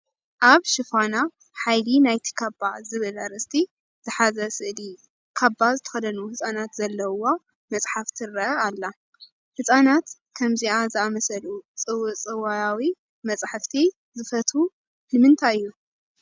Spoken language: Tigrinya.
ኣብ ሽፋና ሓይሊ ናይቲ ካባ ዝብልኣርእስቲ ዝሓዘር ስእሊ ካባ ዝተኸደኑ ህፃናት ዘለዉዋ መፅሓፍ ትርአ ኣላ፡፡ ህፃናት ከምዚአ ዝኣምሰሉ ፅውፅዋያዊ መፃሕፍቲ ዝፈትዉ ንምንታይ እዩ?